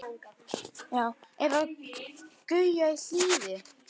Eða Gauja í Hliði!